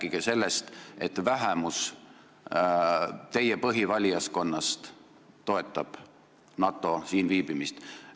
Rääkige sellest, et teie põhivalijaskonna vähemus toetab NATO siin viibimist.